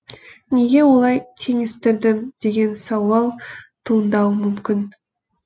неге олай теңестірдім деген сауал туындауы мүмкін